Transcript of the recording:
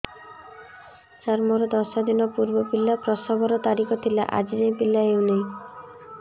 ସାର ମୋର ଦଶ ଦିନ ପୂର୍ବ ପିଲା ପ୍ରସଵ ର ତାରିଖ ଥିଲା ଆଜି ଯାଇଁ ପିଲା ହଉ ନାହିଁ